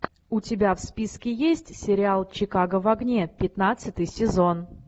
у тебя в списке есть сериал чикаго в огне пятнадцатый сезон